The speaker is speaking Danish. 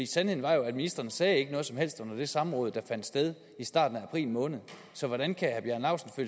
sandheden er at ministrene ikke sagde noget som helst under det samråd der fandt sted i starten af april måned så hvordan kan herre bjarne laustsen